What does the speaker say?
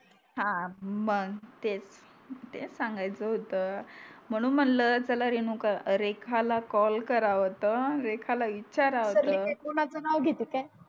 हा मग तेच तेच सांगायच होत म्हणून म्हणल चला रेणुका रेखाला कॉल कारव आता रेखाला विचारव आता मी काय कोणाच नाव घेते का